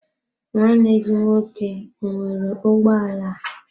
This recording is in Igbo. nwanne gi nwoke ọ nwere ụgbọ ala?